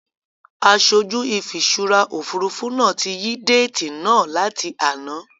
Aṣojú ìfiṣúra Òfurufú náà tí yí déètì náà láti àná.